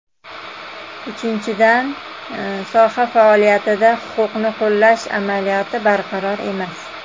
Uchinchidan, soha faoliyatida huquqni qo‘llash amaliyoti barqaror emas.